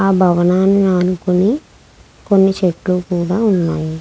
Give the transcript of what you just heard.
ఆ భవనాన్ని ఆనుకుని కొన్ని చెట్లు కూడా ఉన్నాయి.